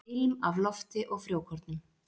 Ilm af lofti og frjókornum.